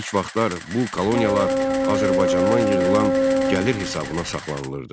İlk vaxtlar bu koloniyalar Azərbaycandan yığılan gəlir hesabına saxlanılırdı.